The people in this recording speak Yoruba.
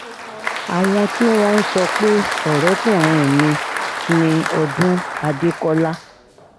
àwọn tí wọ́n ń sọ pé ọ̀rẹ́kùnrin mi ni ọdúnláde àdékọ́là